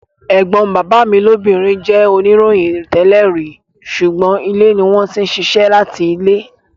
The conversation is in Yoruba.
Ẹ̀gbọ́n bàbá mi lóbìnrin jẹ́ oníròyìn tẹ́lẹ̀ rí, sùgbọ́n ilé ni wọ́n ti ń ṣiṣẹ́ láti ilé.